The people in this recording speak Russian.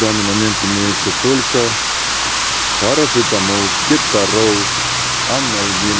данный момент имеется только парацетамол кеторол анальгин